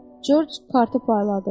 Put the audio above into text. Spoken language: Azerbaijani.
Corc kartı payladı.